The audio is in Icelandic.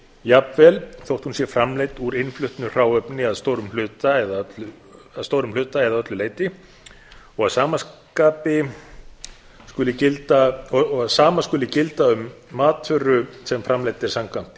jafnvel þó hún sé framleidd úr íslensku hráefni að stórum hluta eða öllu leyti og að sama skuli gilda um matvöru sem framleidd er samkvæmt